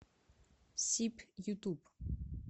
сиб ютуб